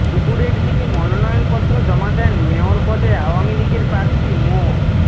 দুপুরের দিকে মনোনয়নপত্র জমা দেন মেয়র পদে আওয়ামী লীগের প্রার্থী মো